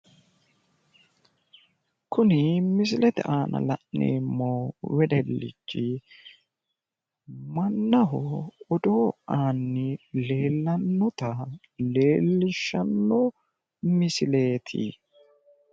Kuni misilete aana la'neemmo wedellichi, mannaho odoo aanni leellannota leellishshanno misileeti.